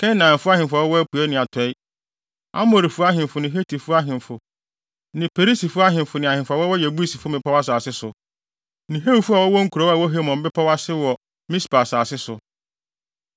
Kanaan ahemfo a wɔwɔ apuei ne atɔe; Amorifo ahemfo ne Hetifo ahemfo ne Perisifo ahemfo ne ahemfo a wɔwɔ Yebusifo mmepɔw asase so; ne Hewifo a wɔwɔ nkurow a ɛwɔ Hermon bepɔw ase wɔ Mispa asase so.